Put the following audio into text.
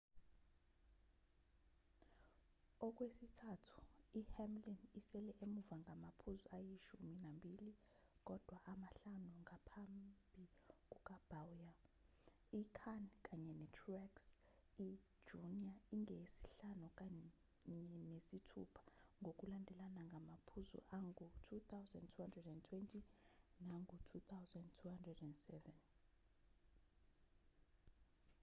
okwesithathu i-hamlin isele emuva ngamaphuzu ayishumi nambili kodwa amahlanu ngaphambi kuka-bowyer i-kahne kanye ne-truex i-jr ingeyesihlanu kanye nesithupha ngokulandelana ngamaphuzu angu-2,220 nangu-2,207